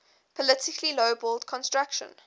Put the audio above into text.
politically lowballed construction